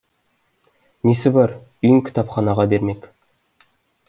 несі бар үйін кітапханаға бермек